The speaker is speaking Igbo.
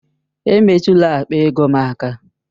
Emetụla akpa ego m aka!